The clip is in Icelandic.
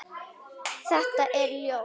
Þetta er ljóð.